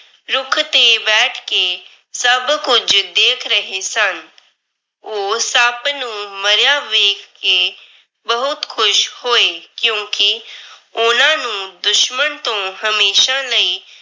ਰੁੱਖ ਤੇ ਬੈਠ ਕੇ ਸਭ ਕੁਝ ਦੇਖ ਰਹੇ ਸਨ। ਉਹ ਸੱਪ ਨੂੰ ਮਰਿਆ ਵੇਖ ਕੇ ਬਹੁਤ ਖੁਸ਼ ਹੋਏ ਕਿਉਂਕਿ ਉਹਨਾਂ ਨੂੰ ਦੁਸ਼ਮਨ ਤੋਂ ਹਮੇਸ਼ਾ ਲਈ।